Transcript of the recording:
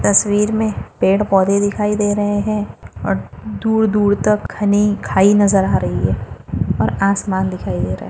तस्वीर मे पेड़ पौधे दिखाई दे रहे है और दूर दूर तक घनी खाई नजर आ रही है और आसमान दिखाई दे रहा है।